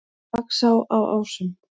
Laxá á Ásum